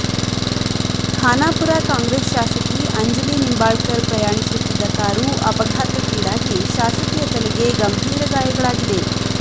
ಖಾನಾಪುರ ಕಾಂಗ್ರೆಸ್ ಶಾಸಕಿ ಅಂಜಲಿ ನಿಂಬಾಳ್ಕರ್ ಪ್ರಯಾಣಿಸುತ್ತಿದ್ದ ಕಾರು ಅಪಘಾತಕ್ಕೀಡಾಗಿ ಶಾಸಕಿಯ ತಲೆಗೆ ಗಂಬೀರ ಗಾಯಗಳಾಗಿದೆ